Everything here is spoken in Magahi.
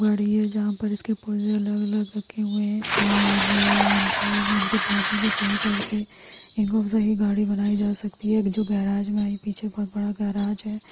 -- गाड़ी है जहाँ पर इसके पुर्जे अलग अलग रखे हुए हैं और इनको इनके पुर्जों को सही करके इनसे ही गाड़ी बनाई जा सकती है जो गेराज में--